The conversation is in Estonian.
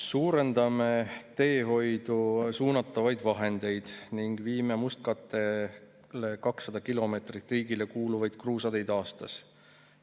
"Suurendame teehoidu suunatavaid vahendeid ning viime mustkatte alla 200 kilomeetrit riigile kuuluvaid kruusateid aastas.